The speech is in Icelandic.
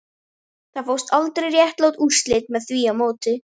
Það fást aldrei réttlát úrslit með því móti